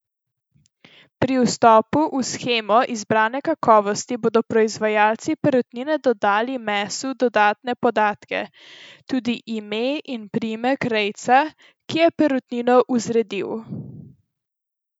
Pri vstopu v shemo izbrane kakovosti bodo proizvajalci perutnine dodali mesu dodatne podatke, tudi ime in priimek rejca, ki je perutnino vzredil.